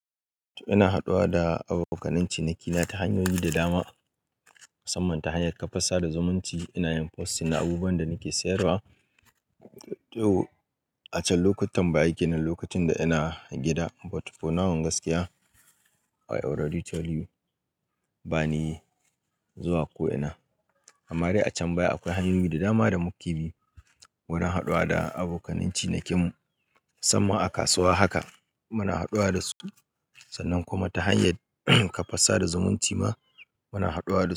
To ina haɗuwa da abokanan cinikina ta hanyoyi da dama, musamman ta hanyar kafa sadarwa zumunci ina yin posting na abubuwan da nake sayarwa. A can lokutan baya kenan, lokacin da ina gida but for now gaskiya I already tell you bani zuwa ko'ina. Amma dai a can baya akwai hanyoyi da dama da muke bi wurin haɗuwa da abokanan cinikin mu. Musamman a kasuwa haka muna haɗuwa da su. Sannan kuma ta hanyai kafa sada zumunci ma muna haɗuwa.